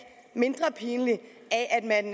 mindre pinlig